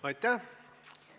Aitäh!